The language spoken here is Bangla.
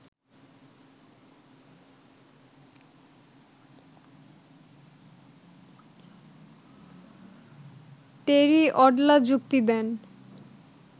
টেরি অডলা যুক্তি দেন